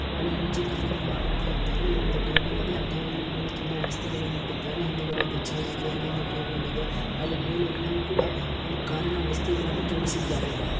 ಅಲ್ಲಿ ಇಂಜಿನ್ ಗೆ ಏನೋ ಮಾಡುತ್ತ ಇದ್ದಾರೆ ಇಲ್ಲಿ ಒಂದು ಟೇಬಲ್ ಇದೆ ಆ ಟೇಬಲ್ಲಿನ ಮೇಲೆ ತುಂಬಾ ವಸ್ತುಗಳನ್ನ ಇಟ್ಟಿದ್ದಾರೆ ಹಿಂದುಗಡೆ ಒಂದು ಚೇರ್ ಇದೆ ಅಲ್ಲೊಂದು ಟೇಬಲ್ ಇದೆ ಅಲ್ ಮೇಲ್ ಯಲ್ಲವು ಕೂಡ ಒಂದು ಕಾರಿನ ವಸ್ತುಗಳನ್ನು ಜೋಡಿಸಿದ್ದಾರೆ.